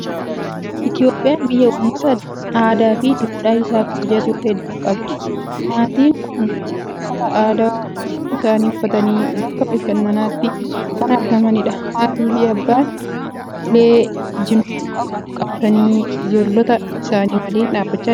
Itoophiyaan biyya uummta aadaa fi duudhaa isaa kabajatu hedduu qabdi. Maatiin kun uffata aadaa isaanii uffatanii, bakka bashannanaatti kan argamanidha. Haatii fi abbaan uee jinfuu qabu qabatanii, ijoollota isaanii waliin dhaabachaa jiru.